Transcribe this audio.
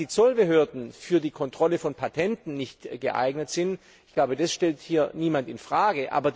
Dass die Zollbehörden für die Kontrolle von Patenten nicht geeignet sind, stellt hier niemand in Frage.